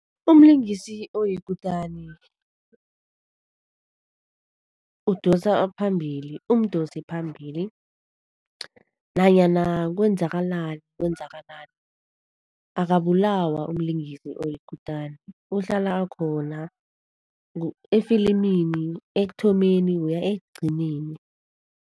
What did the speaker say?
Umlingisi oyikutani udosa phambili, umdosiphambili. Nanyana kwenzakalani kwenzakalani akabulawa umlingisi oyikutani uhlala akhona efilimini, ekuthomeni kuya ekugcineni.